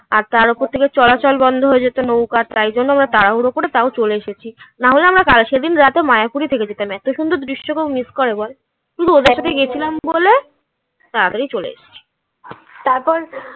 তার ওপর থেকে চলাচল বন্ধ হয়ে যেত নৌকার তাই জন্য আমরা তাড়াহুড়ো করে তাও চলে এসেছি. না হলে আমরা সেদিন রাতে মায়াপুরে থেকে যেতাম এত সুন্দর দৃশ্য কেও miss করে বল. ওদের সাথে গেছিলাম বলে তাড়াতাড়ি চলে এসছি তারপর